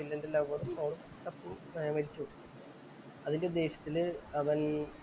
വില്ലന്‍റെലവർ മരിച്ചു പോവും. അതിന്‍റെ ദേഷ്യത്തില് അവന്‍